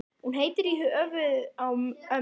Hún heitir í höfuðið á ömmu.